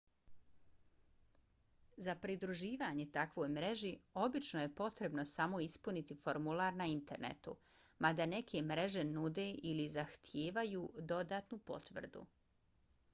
za pridruživanje takvoj mreži obično je potrebno samo ispuniti formular na internetu mada neke mreže nude ili zahtijevaju dodatnu potvrdu